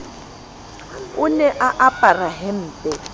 ne a apara hempe e